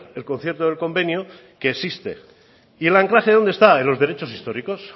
el concierto y el convenio que existe y el anclaje dónde está en los derechos históricos